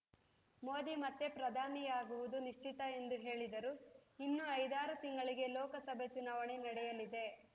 ಮೋದಿ ಮತ್ತೆ ಪ್ರಧಾನಿಯಾಗುವುದೂ ನಿಶ್ಚಿತ ಎಂದು ಹೇಳಿದರು ಇನ್ನು ಐದಾರು ತಿಂಗಳಿಗೆ ಲೋಕಸಭೆ ಚುನಾವಣೆ ನಡೆಯಲಿದೆ